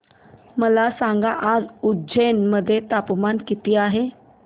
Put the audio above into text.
मला सांगा आज उज्जैन मध्ये तापमान किती आहे